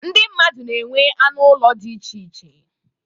Ndị mmadụ na-enwe anụ ụlọ dị iche iche.